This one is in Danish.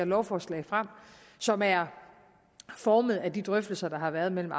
lovforslag som er formet af de drøftelser der har været mellem